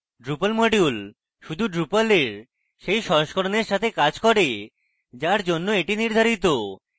drupal module শুধুমাত্র drupal এর সেই সংস্করনের সাথে কাজ করে যার জন্য এটি নির্ধারিত